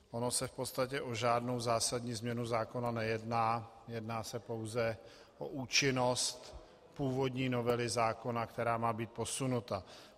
Ono se v podstatě o žádnou zásadní změnu zákona nejedná, jedná se pouze o účinnost původní novely zákona, která má být posunuta.